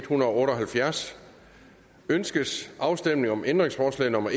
hundrede og otte og halvfjerds ønskes afstemning om ændringsforslag nummer